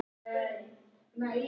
Efri fuglinn er kvenfugl.